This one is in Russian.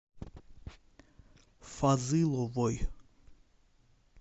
фазыловой